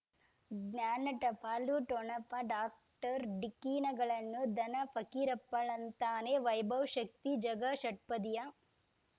ಜ್ಞಾನ ಟಪಾಲು ಠೊಣಪ ಡಾಕ್ಟರ್ ಢಿಕ್ಕಿ ಣಗಳನು ಧನ ಫಕೀರಪ್ಪ ಳಂತಾನೆ ವೈಭವ್ ಶಕ್ತಿ ಝಗಾ ಷಟ್ಪದಿಯ